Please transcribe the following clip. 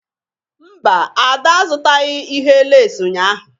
Mba, Ada azụtaghị ihe lace ụnyahụ